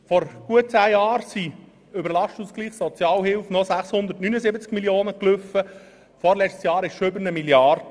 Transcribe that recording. Vor gut zehn Jahren liefen über den Lastenausgleich Sozialhilfe 679 Mio. Franken, im vorletzten Jahr waren es schon mehr als 1 Mrd. Franken.